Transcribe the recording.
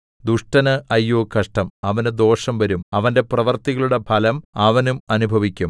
ദുഷ്ടന് അയ്യോ കഷ്ടം അവനു ദോഷം വരും അവന്റെ പ്രവൃത്തികളുടെ ഫലം അവനും അനുഭവിക്കും